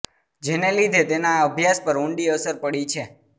જેને લીધે તેનાં અભ્યાસ પર ઉંડી અસર પડી છે